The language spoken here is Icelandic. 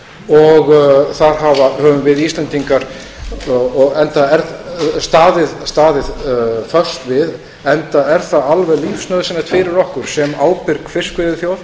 upp á þar höfum við íslendingar staðið fast við enda er það alveg lífsnauðsynlegt fyrir okkur sem ábyrg fiskveiðiþjóð